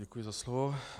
Děkuji za slovo.